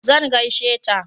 zan gaishe ta